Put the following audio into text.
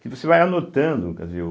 Que você vai anotando, quer dizer o,